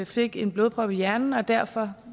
fik en blodprop i hjernen og derfor